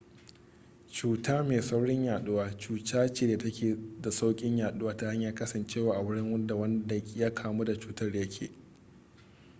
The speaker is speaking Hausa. cuta mai saurin yaɗuwa cuta ce da ta ke da sauƙin yaduwa ta hanyar kasancewa a wurin da wanda ya kamu da cutar ya ke